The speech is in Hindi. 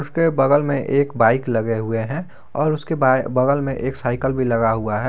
उसके बगल में एक बाइक लगे हुए हैं और उसके बाएं बगल में एक साइकल भी लगा हुआ है।